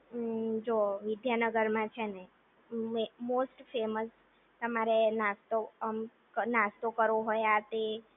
ઉંમ જો વિદ્યાનગર માં છેને, એક મોસ્ટ ફેમસ તમારે નાસ્તો અમ નાસ્તો કરવો હોય આ તે